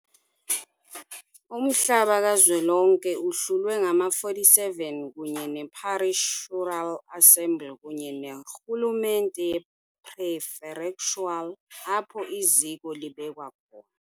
Umhlaba kazwelonke uhlulwe ngama-47, kunye ne-parishural assembly kunye ne-rhu lumente ye-prefectural apho iziko libekwa khona.